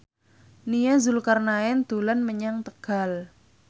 Nia Zulkarnaen dolan menyang Tegal